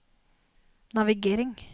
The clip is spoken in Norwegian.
navigering